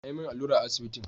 An yi min allura a asibitin.